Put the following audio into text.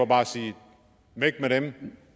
bare siger væk med dem